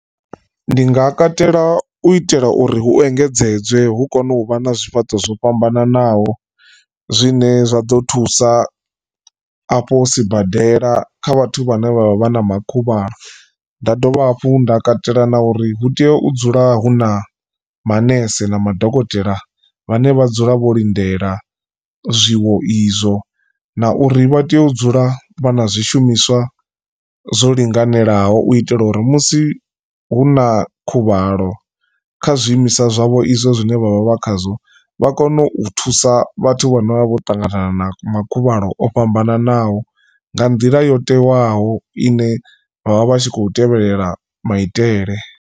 Ndi nga katela u itela uri hu engedzedzwe hu kone uvha na zwifhaṱo zwo fhambananaho zwine zwaḓo thusa afho sibadela kha vhathu vhane vha vha na ma khuvhalo. Nda dovha hafhu nda katela na uri hu tea u dzula hu na manese na madokotela vhane vha dzula vho lindela zwiwo izwo na uri vha tea u dzula vha na zwishumiswa zwo linganelaho u itela uri musi hu na khuvhalo. Kha zwiimiswa zwavho izwo zwine vhavha vha khazwo vha kone u thusa vhathu vhane vha vha vho ṱangana na ma khuvhalo o fhambananaho nga nḓila yo tewaho ine vhavha vhatshi kho tevhelela maitele.